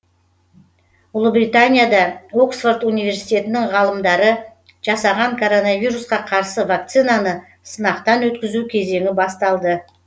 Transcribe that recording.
ұлыбританияда оксфорд университетінің ғалымдары жасаған коронавирусқа қарсы вакцинаны сынақтан өткізу кезеңі басталды